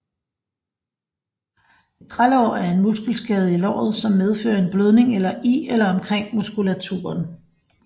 Et trælår er en muskelskade i låret som medfører en blødning i eller omkring muskulaturen